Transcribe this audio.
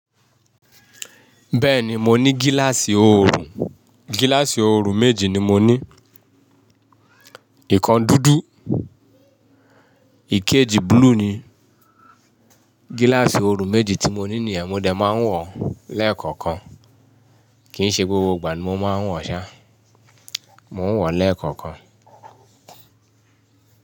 Bẹ́ẹ̀ni, mo ní gíláàsì oòrùn. Gíláàsì oòrùn méjì ni mo ní. Ìkan dúdú, ìkejì búlúù ni. Gíláàsì oòrùn méjì tí mo ní nìyẹn mo lè máa ń wọ̀ọ̀ lẹ́ẹ̀kọ̀kan. Kìí ṣe gbogbo ìgbà ni mo máa ń wọ̀ ọ́ ṣá. Mo ń wọ̀ọ̀ lẹ́ẹ̀kọ̀kan.